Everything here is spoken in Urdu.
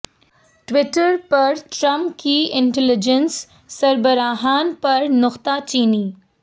ٹوئٹر پر ٹرمپ کی انٹیلی جینس سربراہان پر نکتہ چینی